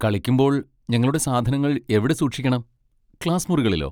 കളിക്കുമ്പോൾ ഞങ്ങളുടെ സാധനങ്ങൾ എവിടെ സൂക്ഷിക്കണം, ക്ലാസ് മുറികളിലോ?